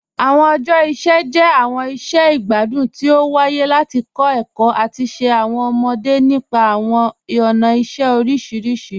Awọn ọjọ iṣẹ jẹ awọn iṣẹ igbadun ti o waaye lati kọ ẹkọ ati ṣe awọn ọmọde nípa awọn ọna iṣẹ oriṣiriṣi.